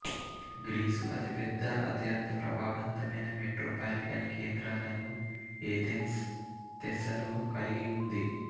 Greece అతిపెద్ద అత్యంత ప్రభావవంతమైన మెట్రోపాలిటన్ కేంద్రాలను ఏథెన్స్ థెస్సలో కలిగి ఉంది